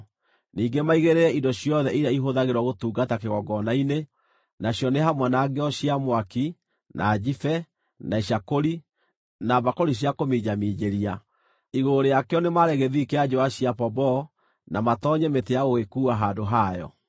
Ningĩ maigĩrĩre indo ciothe iria ihũthagĩrwo gũtungata kĩgongona-inĩ, nacio nĩ hamwe na ngĩo cia mwaki, na njibe, na icakũri, na mbakũri cia kũminjaminjĩria. Igũrũ rĩakĩo nĩ maare gĩthii kĩa njũũa cia pomboo na matoonyie mĩtĩ ya gũgĩkuua handũ hayo.